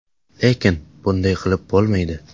Lekin bunday qilib bo‘lmaydi.